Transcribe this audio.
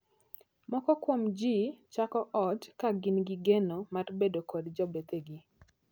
Moko kuom jii chako ot ka gin gi geno mar bedo kod jobethegi.